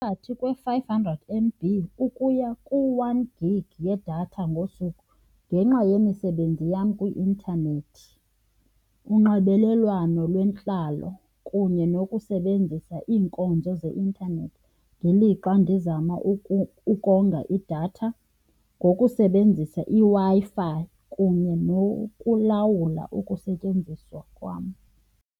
Phakathi kwe-five hundred M_B ukuya ku-one gig yedatha ngosuku ngenxa yemisebenzi yam kwi-intanethi, unxibelelwano lwentlalo kunye nokusebenzisa iinkonzo zeintanethi ngelixa ndizama ukonga idatha ngokusebenzisa iWi-Fi kunye nokulawula ukusetyenziswa kwam.